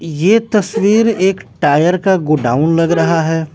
यह तस्वीर एक टायर का गोडाउन लग रहा है।